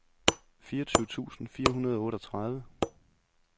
fireogtyve tusind fire hundrede og otteogtredive